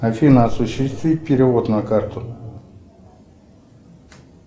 афина осуществи перевод на карту